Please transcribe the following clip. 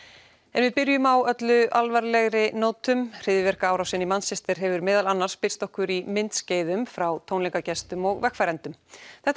en við byrjum á öllu alvarlegri nótum hryðjuverkaárásin í Manchester hefur meðal annars birst okkur í myndskeiðum frá tónleikagestum og vegfarendum þetta